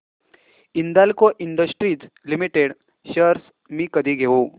Hindalco industries limited shares मी कधी घेऊ